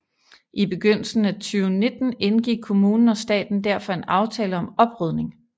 I begyndelsen af 2019 indgik kommunen og staten derfor en aftale om oprydning